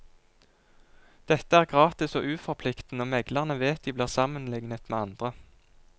Dette er gratis og uforpliktende, og meglerne vet de blir sammenlignet med andre.